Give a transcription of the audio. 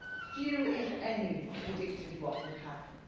Few, if any, predicted what would happen.